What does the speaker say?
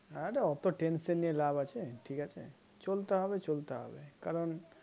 আরে অত tension নিয়ে লাভ আছে ঠিক আছে চলতে হবে চলতে হবে কারণ